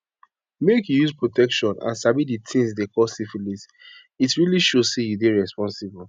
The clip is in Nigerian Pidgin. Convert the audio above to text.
make you use protection and sabi the things they call syphilis it really show say you dey responsible